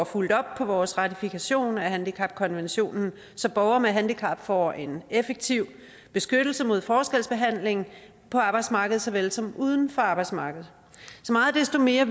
fulgt op på vores ratifikation af handicapkonventionen så borgere med handicap får en effektiv beskyttelse mod forskelsbehandling på arbejdsmarkedet såvel som uden for arbejdsmarkedet så meget desto mere